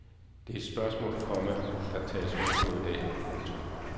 Det er de spørgsmål, komma der tages hul på i dag. punktum